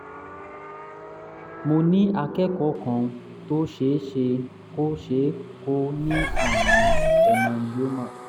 mo ní akẹ́kọ̀ọ́ kan tó ṣe é ṣe kó é ṣe kó ní àrùn hemangioma